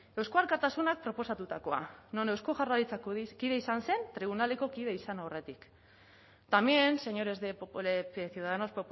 eusko alkartasunak proposatutakoa non eusko jaurlaritzako kide izan zen tribunaleko kide izan aurretik también señores de ciudadanos